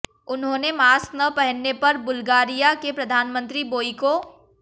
उन्होंने मास्क न पहनने पर बुल्गारिया के प्रधानमंत्री बोइको